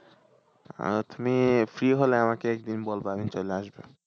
আর তুমি free হলে আমাকে একদিন বলবা আমি চলে আসবো।